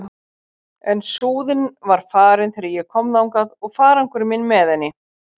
En Súðin var farin þegar ég kom þangað og farangur minn með henni.